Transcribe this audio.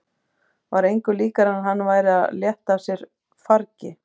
Var engu líkara en hann væri að létta af sér fargi.